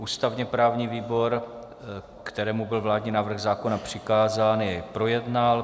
Ústavně-právní výbor, kterému byl vládní návrh zákona přikázán, jej projednal.